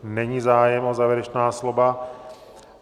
Není zájem o závěrečná slova.